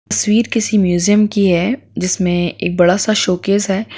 तस्वीर किसी म्यूजियम की है जिसमे एक बड़ा-सा शोकेस है।